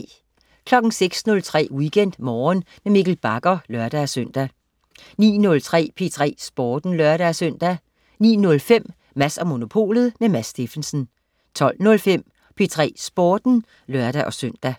06.03 WeekendMorgen med Mikkel Bagger (lør-søn) 09.03 P3 Sporten (lør-søn) 09.05 Mads & Monopolet. Mads Steffensen 12.05 P3 Sporten (lør-søn)